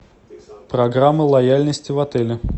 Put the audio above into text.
программа лояльности в отеле